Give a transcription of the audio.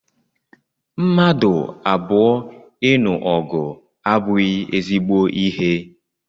Mmadụ abụọ ịnụ ọgụ abụghị ezigbo ihe